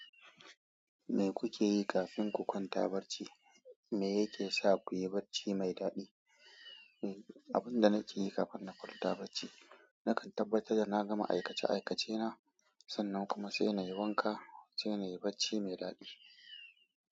Me kuke yi kafin ku kwanta barci? Me yake sa ku yi bacci mai dadi? Abin da nake yi kafin na kwanta bacci, nakan tabbatar da na gama aikace aikacena, sannan kuma sai na yi wanka sai na yi bacci mai daɗi.